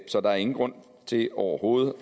så der er ingen grund til overhovedet